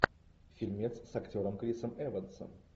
фильмец с актером крисом эвансом